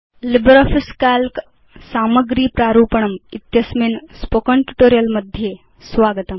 LibreOffice Calc सामग्री प्रारूपणम् इत्यस्मिन् स्पोकेन ट्यूटोरियल् मध्ये स्वागतम्